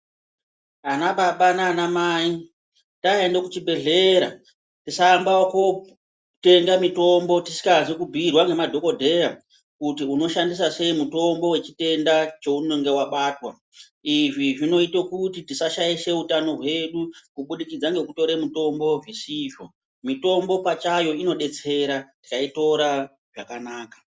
Ana baba naana mai taenda kuchibhedhlera tisaamba ekotenga mutombo tisikazi kubhuirwa ngemadhokodhera kuti unoshandisa sei mitombo wechitenda chaunenge wabatwa. Izvi zvinoite kuti tisashaishe utano hwedu kubudikidze ngekutora mitombo zvisizvo mitombo pachayo inodetsera tikaitora zvakanaka